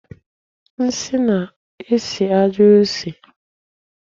Nsi na-esi ajo isi.